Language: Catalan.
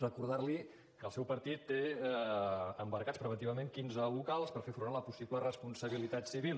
recordar li que el seu partit té embargats preventivament quinze locals per fer front a la possible responsabilitat civil